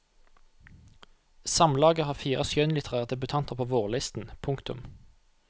Samlaget har fire skjønnlitterære debutanter på vårlisten. punktum